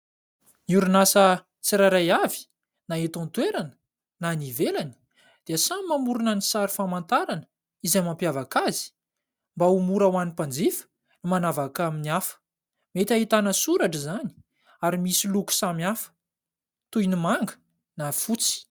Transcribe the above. Ny orinasa tsirairay avy, na eto an-toerana na any ivelany, dia samy mamorona ny sary famantarana izay mampiavaka azy, mba ho mora ho an'ny mpanjifa ny manavaka amin'ny hafa; mety ahitana soratra izany ary misy loko samihafa toy ny manga na fotsy.